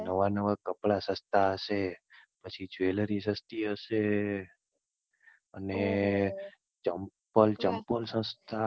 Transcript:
નવા નવા કપડા સસ્તા હશે, પછી Jewelry સસ્તી હશે, અને ચંપલ~ચંપલ સસ્તા હશે.